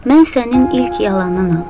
Mən sənin ilk yalanınam.